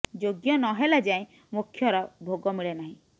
ଯୋଗ୍ୟ ନ ହେଲା ଯାଏଁ ମୋକ୍ଷର ଭୋଗ ମିଳେ ନାହିଁ